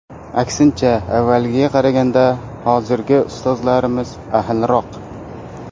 Aksincha, avvalgiga qaraganda hozirgi ustozlarimiz ahilroq.